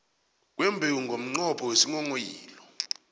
kwembewu ngomnqopho wesinghonghoyilo